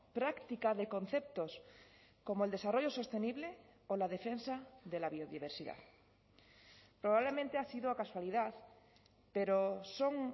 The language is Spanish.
práctica de conceptos como el desarrollo sostenible o la defensa de la biodiversidad probablemente ha sido casualidad pero son